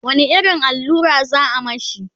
wani irin allura za'a mashi?